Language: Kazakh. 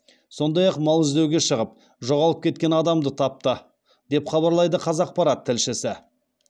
сондай ақ мал іздеуге шығып жоғалып кеткен адамды тапты деп хабарлайды қазақпарат тілшісі